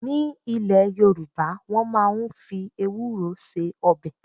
Ní ilé Yoruba, wọ́n máa ń fi ewúro ṣe ọbẹ̀